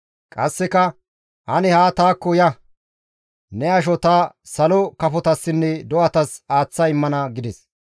Qasseka, «Ane haa taakko ya! Ne asho ta salo kafotassinne do7atas aaththa immana» gides.